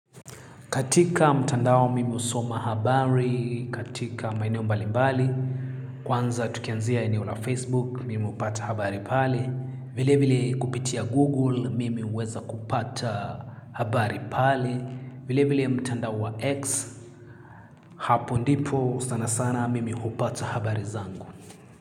Katika mtandao mimi husoma habari, katika maeneo mbalimbali, kwanza tukianzia eneo la Facebook, mimi upata habari pale, vile vile kupitia Google, mimi huweza kupata habari pale, vile vile mtandao wa X, hapo ndipo, sana sana mimi hupata habari zangu.